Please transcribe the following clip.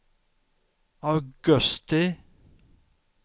augusti